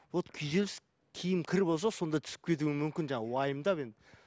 вот күйзеліс киім кір болса сонда түсіп кетуі мүмкін жаңағы уайымдап енді